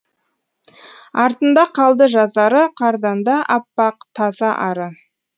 артында қалды жазары қардан да аппақ таза ары